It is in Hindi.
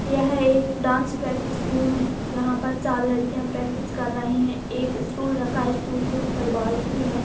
यह एक डांस प्रैक्टिस रुम है यहाँ पर चार लड़किया प्रैक्टिस कर रही है एक स्टूल रखा है स्टूल के ऊपर बाल्टी है।